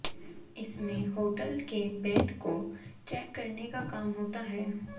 इसमें होटल के बेड को चैक करने का काम होता है